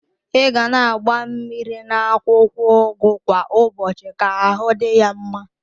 I ga na agba mmiri na akwụkwọ ugu kwa ụbọchị ka ahụ dị ya mma.